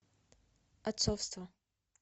отцовство